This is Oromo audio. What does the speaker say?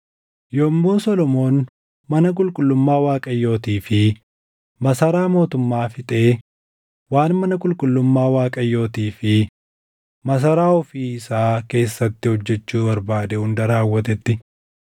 Yommuu Solomoon mana qulqullummaa Waaqayyootii fi masaraa mootummaa fixee waan mana qulqullummaa Waaqayyootii fi masaraa ofii isaa keessatti hojjechuu barbaade hunda raawwatetti,